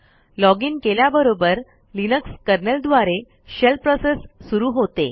login केल्याबरोबर Linux kernel द्वारे shell process सुरू होते